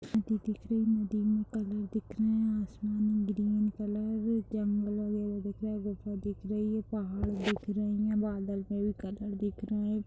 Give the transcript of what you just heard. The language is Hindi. नदी दिख रही है नदी में कलर दिख रहे है आसमान ग्रीन कलर जंगल वाइगैरा दिख रहे है गुफा दिख रही है पहाड़ दिख रहे है बादल में भी कलर दिख रहा है|